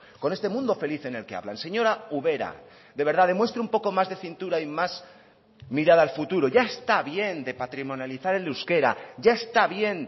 con este mundo feliz en el que hablan señora ubera de verdad demuestre un poco más de cintura y más mirada al futuro ya está bien de patrimonializar el euskera ya está bien